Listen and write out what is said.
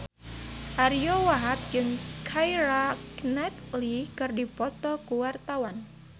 Ariyo Wahab jeung Keira Knightley keur dipoto ku wartawan